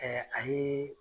a yee